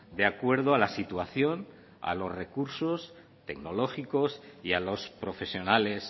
de acuerdo a la situación a los recursos tecnológicos y a los profesionales